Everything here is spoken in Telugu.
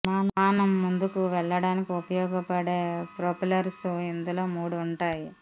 విమానం ముందుకు వెళ్లడానికి ఉపయోగపడే ప్రొపెల్లర్స్ ఇందులో మూడు ఉంటాయి